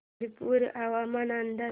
शिरपूर हवामान अंदाज